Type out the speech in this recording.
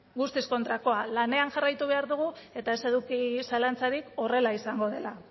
guztiz kontrakoa lanean jarraitu behar dugu eta ez eduki zalantzarik horrela izango dela